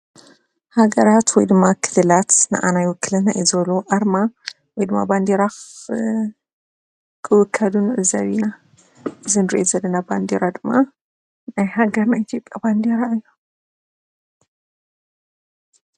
ሃገራት ወይ ከኦኣ ክልላት ናዓና ይውክለና እዩ ብዝበልዎ ኣርማ ወይ ባንዴራ ክውከሉ ንዕዘብ ኢና። እዚ እንሪኦ ዘለና ባንዴራ ድማ ናይ ሃገርና ኢትዮጵያ እዩ።